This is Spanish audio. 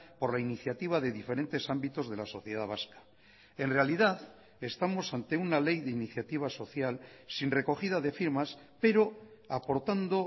por la iniciativa de diferentes ámbitos de la sociedad vasca en realidad estamos ante una ley de iniciativa social sin recogida de firmas pero aportando